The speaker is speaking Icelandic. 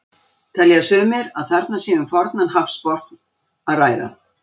Telja sumir að þarna sé um fornan hafsbotn að ræða.